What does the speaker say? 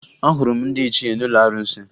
Ahụrụ m ndị ichie n'ụlọ arụsị